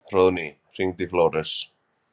Hróðný, hringdu í Flóres.